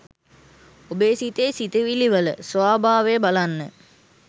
ඔබේ සිතේ සිතිවිලිවල ස්වභාවය බලන්න